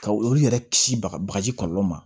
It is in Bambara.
Ka olu yɛrɛ kisi baga bagaji kɔlɔlɔ ma